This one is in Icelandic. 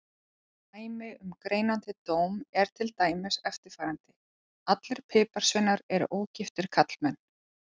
Dæmi um greinandi dóm er til dæmis eftirfarandi: Allir piparsveinar eru ógiftir karlmenn.